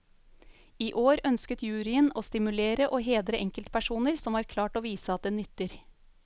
I år ønsket juryen å stimulere og hedre enkeltpersoner som har klart å vise at det nytter.